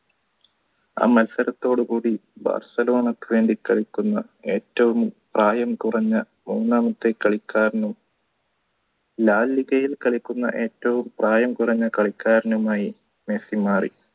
ആ മത്സരത്തോടുകൂടി ബാർസലോണക്ക് വേണ്ടി കളിക്കുന്ന ഏറ്റവും പ്രായം കുറഞ്ഞ ഒന്നാമത്തെ കളിക്കാരനും ലാലിഗയിൽ കളിക്കുന്ന ഏറ്റവും പ്രായം കുറഞ്ഞ കളിക്കാരനുമായി മെസ്സി മാറി